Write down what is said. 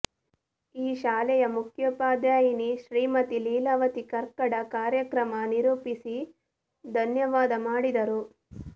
ಈ ಶಾಲೆಯ ಮುಖ್ಯೋಪಾಧ್ಯಾಯನಿ ಶ್ರೀಮತಿ ಲೀಲಾವತಿ ಕರ್ಕಡ ಕಾರ್ಯಕ್ರಮ ನಿರೂಪಿಸಿ ಧನ್ಯವಾದ ಮಾಡಿದರು